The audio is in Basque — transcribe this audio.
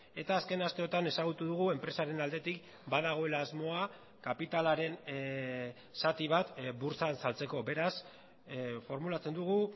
eta azken asteotan ezagutu dugu enpresaren aldetik badagoela asmoa kapitalaren zati bat burtsan saltzeko beraz formulatzen dugu